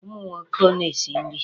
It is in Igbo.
Ụmụ nwoke na-esi nri.